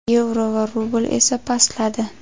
yevro va rubl esa pastladi.